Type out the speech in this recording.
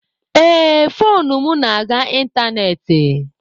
Ee, foonu m na-aga ịntanetị.